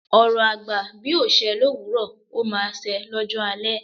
Ọ̀rọ̀ àgbà bí ò ṣẹ́ lówuro, o máa se lọ́jọ́ alẹ̀